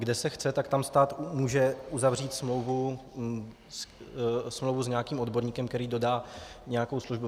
Kde se chce, tak tam stát může uzavřít smlouvu s nějakým odborníkem, který dodá nějakou službu.